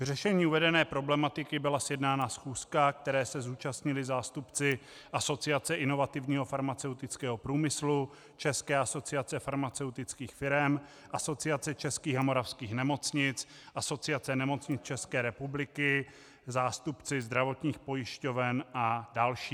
K řešení uvedené problematiky byla sjednána schůzka, které se zúčastnili zástupci Asociace inovativního farmaceutického průmyslu, České asociace farmaceutických firem, Asociace českých a moravských nemocnic, Asociace nemocnic České republiky, zástupci zdravotních pojišťoven a další.